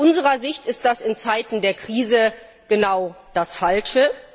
Aus unserer Sicht ist das in Zeiten der Krise genau das Falsche.